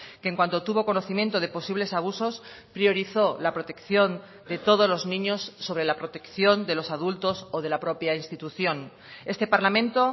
que en cuanto tuvo conocimiento de posibles abusos priorizo la protección de todos los niños sobre la protección de los adultos o de la propia institución este parlamento